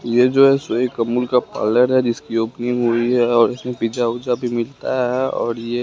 ये जो है सो एक अमूल का पार्लर जिसकी ओपनिंग हुई है और इसमें पिज्जा उज्जा भी मिलता है और ये--